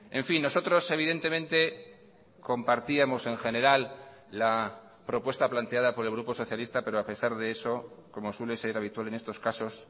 en fin nosotros evidentemente compartíamos en general la propuesta planteada por el grupo socialista pero a pesar de eso como suele ser habitual en estos casos